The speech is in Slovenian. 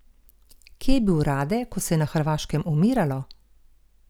Kje je bil Rade, ko se je na Hrvaškem umiralo?